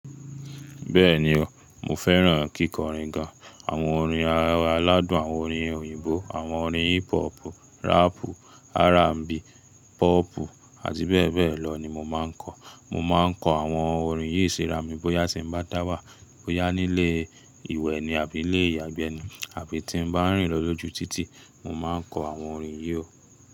Bẹ́ẹ̀ni o, mo fẹ́ràn kíkọrin gan. Àwọn orin ará aládùn, àwọn orin òyìnbó, àwọn orin hip hop, rap, R&B, pop àti bẹ́ẹ̀ bẹ́ẹ̀ lọ ni mo máa n kọ. Mo máa n kọ àwọn orin yí sì ra mi bóyá tí mo bá dáwà, bóyá nílé ìwé ni àbí lé ìyàgbẹ́ ni àbí tí n bá n rìn lọ lójú títì, mo máa n kọ àwọn orin yí o.